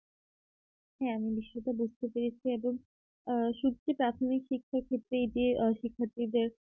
হ্যাঁ আমি সেটা বুঝতে পেরেছি এবং আ শুধু কি প্রাথমিক শিক্ষা ক্ষেত্রেই যে শিক্ষার্থীদের